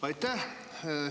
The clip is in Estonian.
Aitäh!